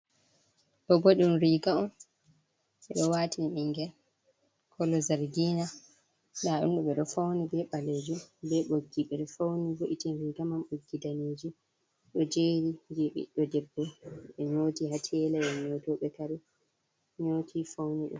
Doobo ɗum riga on, ɓe do waatin nɓingel koolo zargina roube do fauni be baleejum be boggi ɓe fauni vo’itin rigamam, boggi daneejum do jeeri je ɓiɗdo debbo be nyotii ha teela ea nyotobe kaare nyotii fauni ɗum.